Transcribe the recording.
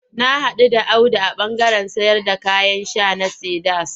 Na haɗu da Audu a ɓandaren sayarda kayan sha na Cedars.